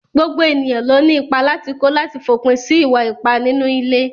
Gbogbo ènìyàn ló ní ìpà látì kó látì fòpin sí ìwà-ìpá nínú ilé.